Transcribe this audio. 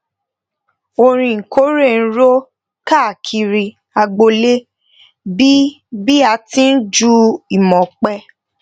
orin ìkórè n ro káàkiri agboole bi bi a ti n ju imope